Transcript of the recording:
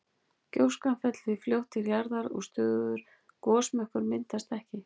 Gjóskan fellur því fljótt til jarðar og stöðugur gosmökkur myndast ekki.